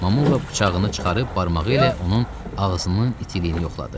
Mamula bıçağını çıxarıb barmağı ilə onun ağzının itiliyini yoxladı.